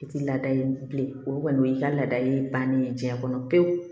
I ti lada yen bilen olu kɔni o y'i ka laada ye bannen ye jiɲɛ kɔnɔ pewu